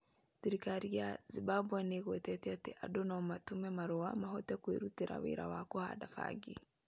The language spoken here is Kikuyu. Thirikari ya Zimbabwe nĩ ĩgwetete atĩ andũ no matũme marũa mahote kwĩrutĩra wĩra wa kũhanda bangi.